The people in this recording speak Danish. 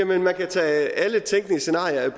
man kan tage alle tænkelige scenarier